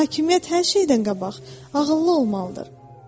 Hakimiyyət hər şeydən qabaq ağıllı olmalıdır.